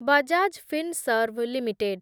Bajaj Finserv limited